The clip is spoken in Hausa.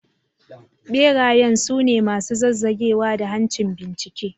Berayen su ne masu zazzagewa da hancin bincike.